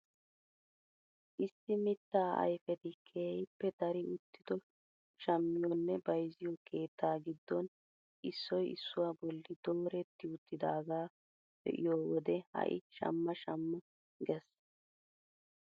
Issi mittaa ayfeti keehippe dari uttido shammiyoo nne bayzziyoo keettaa giddon issoy issuwaa bolli dooretti uttidagaa be'iyoo wode ha'i shamma shamma ges!